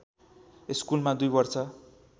स्कुलमा २ वर्ष